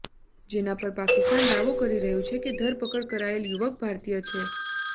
જેના પર પાકિસ્તાન દાવો કરી રહ્યું છે કે ધરપકડ કરાયેલ યુવક ભારતીય છે